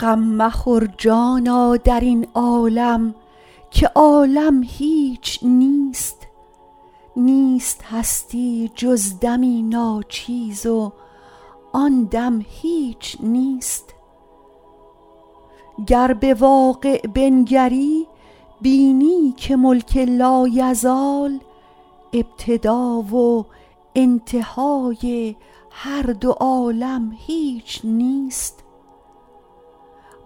غم مخور جانا در این عالم که عالم هیچ نیست نیست هستی جز دمی ناچیز و آن دم هیچ نیست گر به واقع بنگری بینی که ملک لایزال ابتدا و انتهای هر دو عالم هیچ نیست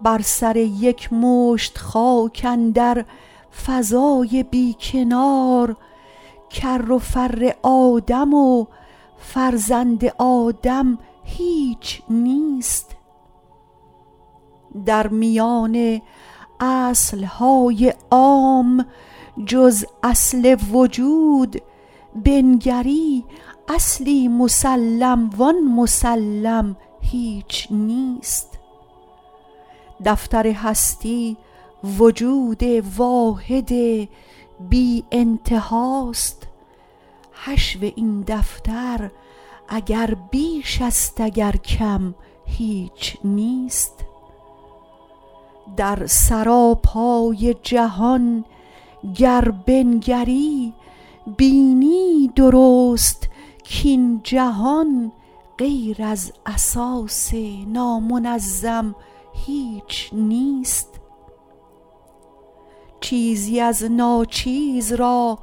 بر سر یک مشت خاک اندر فضای بی کنار کر و فر آدم و فرزند آدم هیچ نیست در میان اصل های عام جز اصل وجود بنگری اصلی مسلم و آن مسلم هیچ نیست دفتر هستی وجود واحد بی انتها است حشو این دفتر اگر بیش است اگر کم هیچ نیست در سراپای جهان گر بنگری بینی درست کاین جهان غیر از اساس نامنظم هیچ نیست چیزی از ناچیز را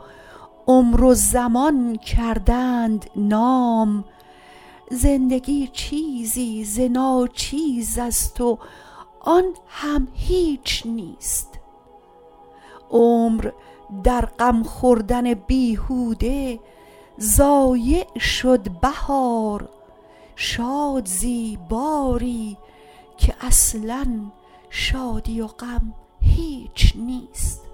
عمر و زمان کردند نام زندگی چیزی ز ناچیز است و آن هم هیچ نیست عمر در غم خوردن بیهوده ضایع شد بهار شاد زی باری که اصلا شادی و غم هیچ نیست